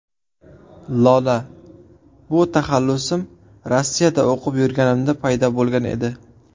Lola: Bu taxallusim Rossiyada o‘qib yurganimda paydo bo‘lgan edi.